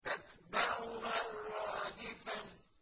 تَتْبَعُهَا الرَّادِفَةُ